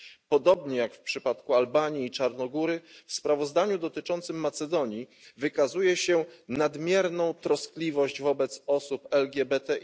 Podobnie jak w przypadku Albanii i Czarnogóry w sprawozdaniu dotyczącym Macedonii wykazuje się nadmierną troskliwość wobec osób LGBTI.